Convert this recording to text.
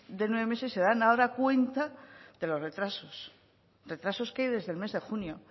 de nueve meses se dan ahora cuenta de lo retrasos retrasos que hay desde el mes de junio